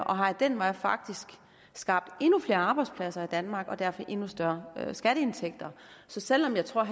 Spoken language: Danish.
og har af den vej faktisk skabt endnu flere arbejdspladser i danmark og derfor endnu større skatteindtægter så selv om jeg tror at